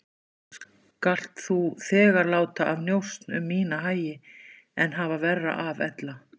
Skalt þú þegar láta af njósn um mína hagi en hafa verra af ella.